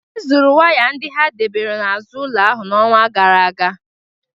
Ezuru waya ndị ha debere n'azụ ụlọ ahụ n'ọnwa gara aga